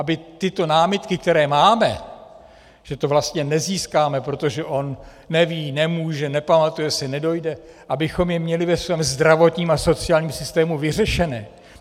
Aby tyto námitky, které máme, že to vlastně nezískáme, protože on neví, nemůže, nepamatuje si, nedojde, abychom je měli ve svém zdravotním a sociálním systému vyřešené.